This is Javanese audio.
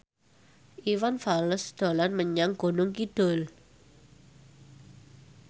Iwan Fals dolan menyang Gunung Kidul